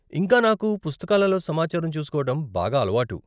ఇంకా నాకు పుస్తకాలలో సమాచారం చూసుకోవటం బాగా అలవాటు.